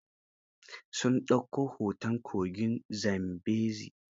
Sun ɗauko hoton kogin Zambezi.